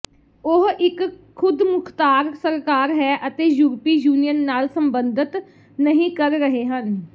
ਉਹ ਇਕ ਖੁਦਮੁਖਤਾਰ ਸਰਕਾਰ ਹੈ ਅਤੇ ਯੂਰਪੀ ਯੂਨੀਅਨ ਨਾਲ ਸਬੰਧਤ ਨਹੀ ਕਰ ਰਹੇ ਹਨ